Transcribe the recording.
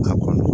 A kɔnɔ